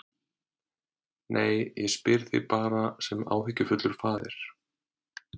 Nei, ég spyr þig bara sem áhyggjufullur faðir.